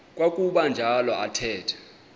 kwakuba njalo athetha